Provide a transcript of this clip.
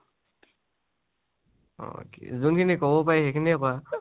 অ কি যোনখিনি কব পাৰি, সেইখিনিয়ে কোৱা